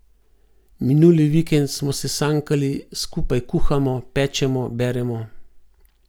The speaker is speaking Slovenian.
Minuli vikend smo se sankali, skupaj kuhamo, pečemo, beremo.